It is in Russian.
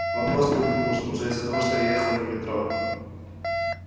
вопрос был ненужный уже из-за того что ехал я не в метро